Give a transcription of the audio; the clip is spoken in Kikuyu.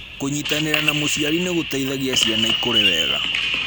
Kũnyitanĩra na mũciari nĩ gũteithagia ciana ikũre wega .